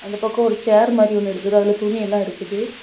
ஒரு பக்கம் ஒரு சேர் மாறி ஒன்னு இருக்குது அதுல துணி எல்லாம் இருக்குது.